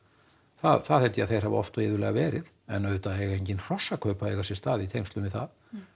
það held ég að þeir hafi oft og iðulega verið en auðvitað eiga engin hrossakaup að eiga sér stað í tengslum við það